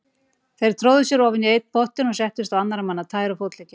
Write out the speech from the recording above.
Þeir tróðu sér ofan í einn pottinn og settust á annarra manna tær og fótleggi.